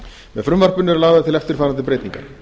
með frumvarpinu eru lagðar til eftirfarandi breytingar